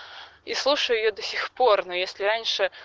и слушаю её до сих пор но если раньше